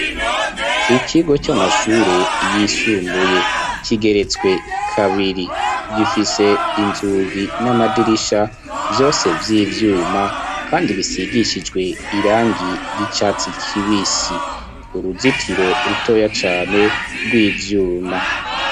Ikigo c'amashure yisumbuye kigeretswe kabiri gifise inzugi n'amadirisha vyose vy'ivyuma kandi bisigishijwe irangi ry'icatsi kibisi uruzitiro rutoya cane rw'ivyuma.